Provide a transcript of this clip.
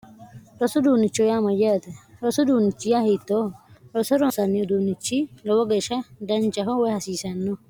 rosu duunnichohu yaamoyya ate rosu duunnichi yaa hiittooho roso ronsaanni uduunnichi lowo geeshsha dancaho woy hasiisanno